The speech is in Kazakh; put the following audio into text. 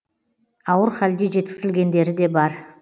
ауыр халде жеткізілгендері де бар